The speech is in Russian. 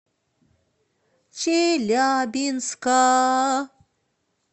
челябинска